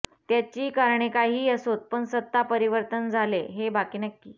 त्याची कारणे काहीही असोत पण सत्ता परिवर्तन झाले हे बाकी नक्की